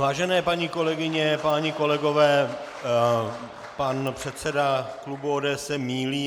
Vážené paní kolegyně, páni kolegové, pan předseda klubu ODS se mýlí.